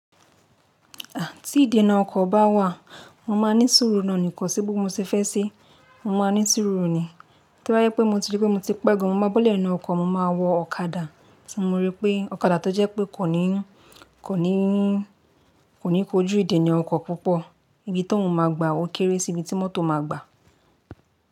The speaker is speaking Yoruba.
Tí ìdènà ọkọ̀ bá wà, mo máa ní sùúrù nọ́ni, kosi bi mo ti fẹ́ ṣe mo máa ní sùúrù nì. Tí bá jé pé mo ti rí pé mo ti pẹ́ gan, mo máa bọ́lẹ̀ nínú ọkọ̀, mo máa wọ ọ̀kadà tí mo rí pé ọ̀kadà tó jẹ́ pé kò ní kojú ìdènà ọkọ̀ púpọ̀. Ibi tí òhun máa gbà wó kéré sí ibi tí mọ́tò máa gbà.